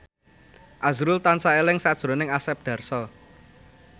azrul tansah eling sakjroning Asep Darso